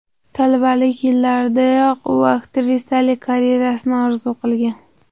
Talabalik yillaridayoq u aktrisalik karyerasini orzu qilgan.